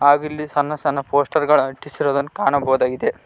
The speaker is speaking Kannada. ಹಾಗೂ ಇಲ್ಲಿ ಸಣ್ಣ ಸಣ್ಣ ಪೋಸ್ಟರ್ಗಳು ಅಂಟಿಸಿರೋದನ್ನು ಕಾಣಬಹುದಾಗಿದೆ.